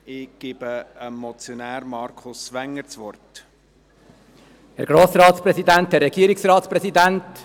Ich erteile dem Motionär, Markus Wenger, das Wort.